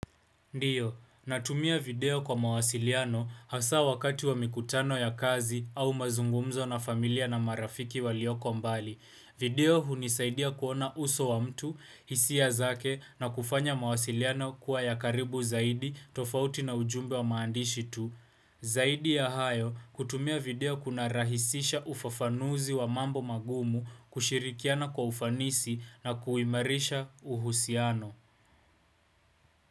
Ndiyo, natumia video kwa mawasiliano hasa wakati wa mikutano ya kazi au mazungumzo na familia na marafiki walioko mbali. Video hunisaidia kuona uso wa mtu, hisia zake na kufanya mawasiliano kuwa ya karibu zaidi, tofauti na ujumbe wa maandishi tu. Zaidi ya hayo, kutumia video kunarahisisha ufafanuzi wa mambo magumu kushirikiana kwa ufanisi na kuimarisha uhusiano.